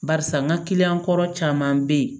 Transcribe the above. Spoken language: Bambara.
Barisa n ka kɔrɔ caman bɛ yen